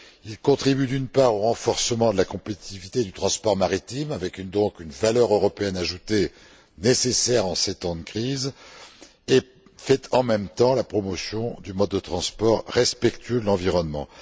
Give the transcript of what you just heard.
Il contribue, d'une part, au renforcement de la compétitivité du transport maritime, avec donc une valeur européenne ajoutée, nécessaire en ces temps de crise, et fait, en même temps, la promotion d'un mode de transport respectueux de l'environnement.